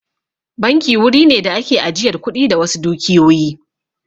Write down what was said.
Banki wuri ne da ake ajiyar kuɗi da wasu dukiyoyi